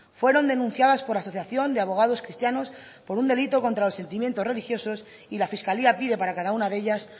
fueron denunciadas por la asociación de abogados cristianos por un delito contra los sentimientos religiosos y la fiscalía pide para cada una de ellas